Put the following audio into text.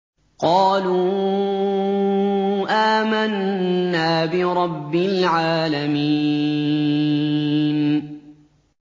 قَالُوا آمَنَّا بِرَبِّ الْعَالَمِينَ